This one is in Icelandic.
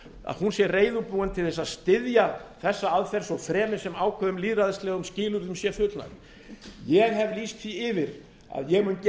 að hún sé reiðubúin til að styðja þessa aðferð svo fremi sem ákveðnum lýðræðislegum skilyrðum sé fullnægt ég hef lýst því yfir að ég mun gera